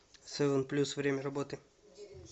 севен плюс время работы